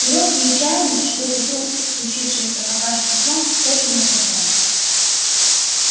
и робкие чаяния что к утру случившееся покажется сном тоже не оправдались